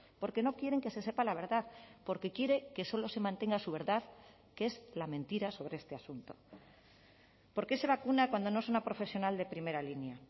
porque no quieren que se sepa la verdad porque quiere que solo se mantenga su verdad que es la mentira sobre este asunto por qué se vacuna cuando no es una profesional de primera línea